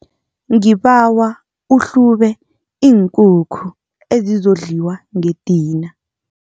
Ngibawa uhlube iinkukhu ezizokudliwa ngedina.